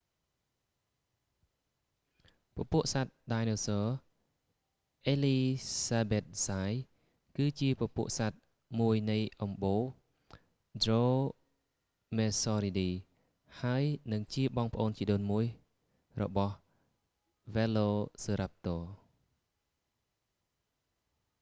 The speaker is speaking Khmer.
hesperonychus elizabethae ពពួកសត្វដាយណូស័រអេលីសាប៊ែតហ្សាយ គឺជាពពួកសត្វមួយនៃអំបូរ dromaeosauridae ដ្រូមៀស័រីឌី ហើយនិងជាបងប្អូនជីដូនមួយរបស់ velociraptor វែឡូសឺរាប់ទ័រ